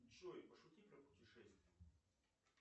джой пошути про путешествия